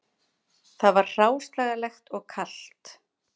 Það var hráslagalegt og kalt